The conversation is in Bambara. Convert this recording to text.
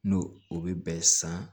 N'o o bɛ bɛn san